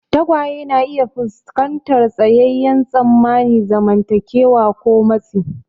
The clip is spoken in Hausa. Tagwaye na iya fuskantar tsayayyen tsammanin zamantakewa ko matsi.